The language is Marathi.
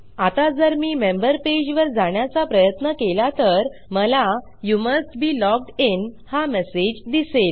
आता जर मी मेंबर पेजवर जाण्याचा प्रयत्न केला तर मला you must be logged in हा मेसेज दिसेल